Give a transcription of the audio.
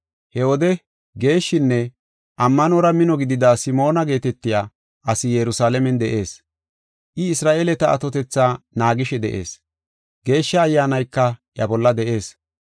He wode geeshshinne ammanora mino gidida Simoona geetetiya asi Yerusalaamen de7ees. I Isra7eeleta atotetha naagishe de7ees. Geeshsha Ayyaanayka iya bolla de7ees.